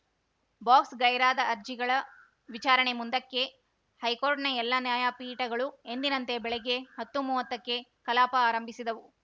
ಬಾಕ್ಸ್‌ಗೈರಾದ ಅರ್ಜಿಗಳ ವಿಚಾರಣೆ ಮುಂದಕ್ಕೆ ಹೈಕೋರ್ಟ್‌ನ ಎಲ್ಲ ನ್ಯಾಯಪೀಠಗಳು ಎಂದಿನಂತೆ ಬೆಳಗ್ಗೆ ಹತ್ತು ಮೂವತ್ತಕ್ಕೆ ಕಲಾಪ ಆರಂಭಿಸಿದವು